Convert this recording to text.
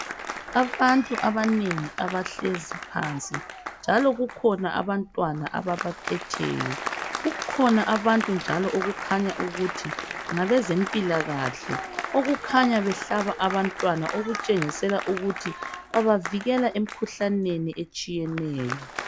Abantu abanengi abahlezi phansi njalo kukhona abantwana ababaphetheyo kukhona abantu njalo okukhanya ukuthi ngabezempilakahle okukhanya behlaba abantwana okutshengisela ukuthi babavikela emkhuhlaneni etshiyeneyo.